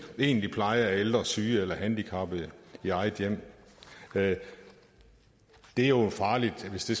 egentlig pleje af ældre syge eller handicappede i eget hjem det er jo farligt hvis det